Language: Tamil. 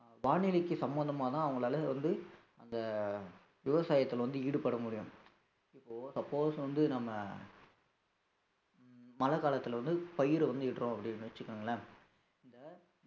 அஹ் வானிலைக்கு சம்மந்தமாதான் அவங்களால வந்து அந்த விவசாயத்துல வந்து ஈடுபட முடியும் இப்போ suppose வந்து நம்ம உம் மழைக்காலத்துல வந்து பயிரை வந்து இடறோம் அப்படின்னு வச்சுக்கோங்களேன் இந்த